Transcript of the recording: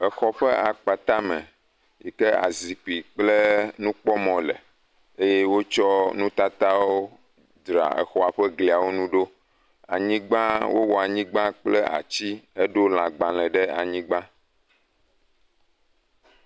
exɔ ƒe akpata me sike azikpi kple nukpɔmɔ le ye wótsɔ nutatawo dzra exɔ ƒe gliawó ŋu ɖo anyigbã wowɔ anyigbã kple atsi he ɖó lagbale ɖe anyigbã